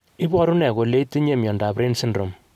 Iporu ne kole itinye miondap Raine syndrome?